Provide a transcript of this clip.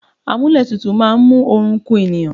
Àmúlétuntun máa ń mú oorun ku ènìyàn